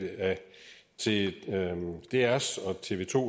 til drs og tv to